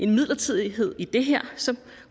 midlertidighed i det her som